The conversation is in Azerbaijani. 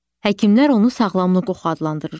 Həkimlər onu sağlamlıq oxu adlandırırlar.